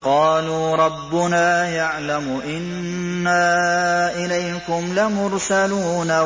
قَالُوا رَبُّنَا يَعْلَمُ إِنَّا إِلَيْكُمْ لَمُرْسَلُونَ